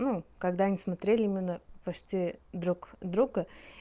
ну когда они смотрели мы почти друг друга